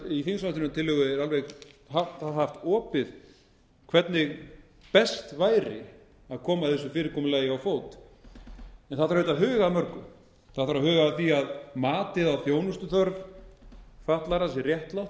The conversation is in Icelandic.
í ráðum en í þingsályktunartillögu er það haft opið hvernig best væri að koma þessu fyrirkomulagi á fót en það þarf auðvitað að huga mörgu það þarf að huga að því að matið á þjónustuþörf fatlaðra sé réttlátt það þarf